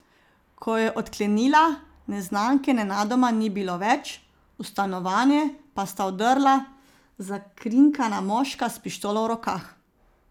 Ko je odklenila, neznanke nenadoma ni bilo več, v stanovanje pa sta vdrla zakrinkana moška s pištolo v rokah.